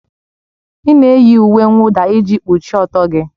Ị na-eyi uwe mwụda iji kpuchie ọtọ gị